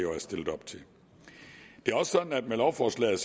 og er stillet op til det er også sådan at med lovforslaget